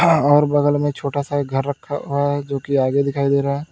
और बगल में एक छोटा सा घर रखा हुआ है जोकि आगे दिखाई दे रहा है।